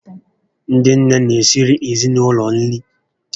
Ndị nné n'esiri ezinaụlọ nri